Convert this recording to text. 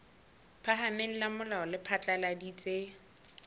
phahameng la molao le phatlaladitse